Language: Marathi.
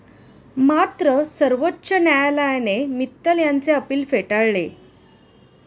मात्र सर्वोच्च न्यायालयाने मित्तल यांचे अपील फेटाळले.